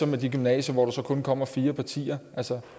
med de gymnasier hvor der så kun kommer fire partier altså